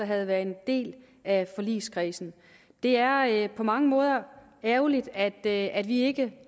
havde været en del af forligskredsen det er på mange måder ærgerligt at at vi ikke